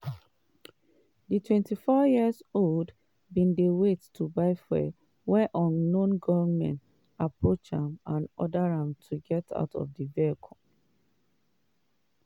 di 24-year-old bin dey wait to buy fuel wen unknown gunmen approach am and order am to get out di vehicle.